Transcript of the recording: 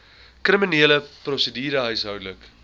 kriminele prosedure huishoudelike